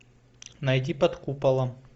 найди под куполом